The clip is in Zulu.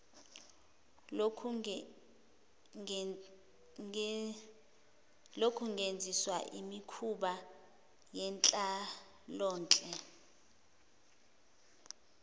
lokungenziswa imikhuba yenhlalonhle